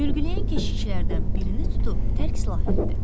Mürgüləyən keşikçilərdən birini tutub tərk silah etdi.